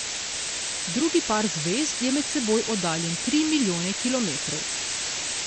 Drugi par zvezd je med seboj oddaljen tri milijone kilometrov.